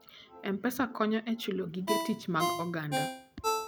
M-Pesa konyo e chulo gige tich mag oganda.